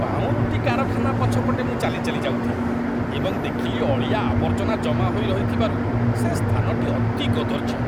ପାଉଁରୁଟି କାରଖାନା ପଛପଟେ ମୁଁ ଚାଲି ଚାଲି ଯାଉଥିଲି ଏବଂ ଦେଖିଲି ଅଳିଆ ଆବର୍ଜନା ଜମା ହୋଇ ରହିଥିବାରୁ ସେ ସ୍ଥାନଟି ଅତି କଦର୍ଯ୍ୟ ।